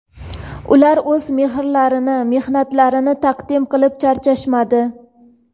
Ular o‘z mehrlarini, mehnatlarini taqdim qilib charchashmadi.